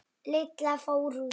Lilla fór út.